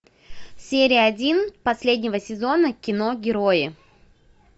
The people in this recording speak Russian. серия один последнего сезона кино герои